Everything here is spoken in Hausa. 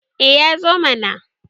eh ya zo mana